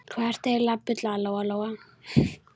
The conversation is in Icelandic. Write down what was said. Hvað ertu eiginlega að bulla, Lóa Lóa?